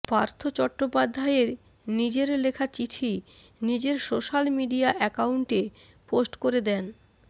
পার্থ চট্টোপাধ্যায়ের নিজের লেখা চিঠি নিজের সোশ্যাল মিডিয়া অ্যাকাউন্টে পোস্ট করে দেন